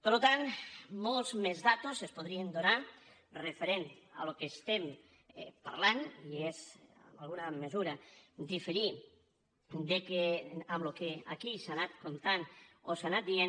per tant moltes més dades es podrien donar referents al que estem parlant i és en alguna mesura diferir del que aquí s’ha anat contant o s’ha anat dient